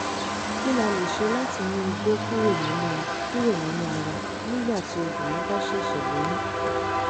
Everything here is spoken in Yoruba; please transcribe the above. kí la lè ṣe láti mú igbó kúrò nínú kúrò nínú ara nígbà tí obínrin bá ṣẹ̀ṣẹ̀ lóyún?